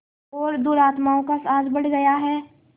और दुरात्माओं का साहस बढ़ गया है